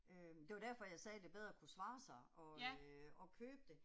Øh det var derfor jeg sagde det bedre kunne svare sig og øh og købe det